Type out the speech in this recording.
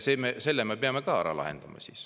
Selle me peame ka ära lahendama.